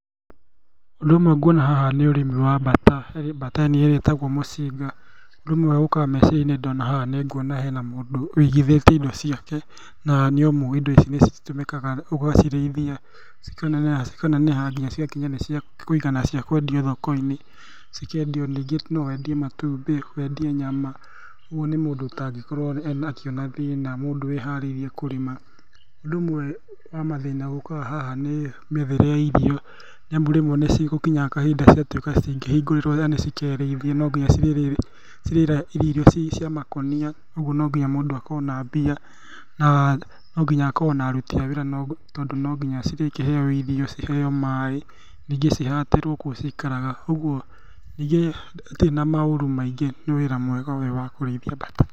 Ũndũ ũmwe guona haha nĩ ũrĩmi wa mbata, harĩ mbata ĩrĩa ĩtagwo mũcinga. Ũndũ Ũmwe ũkaga meciria-inĩ ndona haha nĩnguona hena mũndũ wigithĩtie indo ciake, na nĩamu indo ici citũmĩkaga ũgacirĩithia, cikaneneha nginya cigatuĩka ciakũigana na ciakwendio thoko-inĩ, cikendio rĩngĩ nowendie matumbĩ, wendie nyama, ũguo nĩ mũndũ ũtangĩkorwo akĩona thĩna, mũndũ wĩharĩirie kũrĩma. Ũndũ ũmwe wa mathĩna ũkaga haha nĩ mĩethere ya irio, nĩamu rĩmwe nĩcigũkinya kahinda cigatuĩka citingĩhingũrĩrwo, yani cikerĩithie nonginya cirĩrĩithio cirĩrĩa irio cia makũnia, ũguo nomginya mũndũ akorwo na mbia na nonginya akorwo na aruti a wĩra tondũ nonginya cirĩkĩheo irio, ciheo maaĩ, ningĩ cihatĩrwo kũu cikaraga, ũguo, ningĩ itirĩ na maũru maingĩ, nĩ wĩra mwega ũyũ wakũrĩithia mbata.